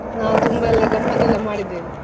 ನಾವ್ ತುಂಬಾ ಎಲ್ಲ ಗಮ್ಮತ್ತೆಲ್ಲ ಮಾಡಿದೆವು.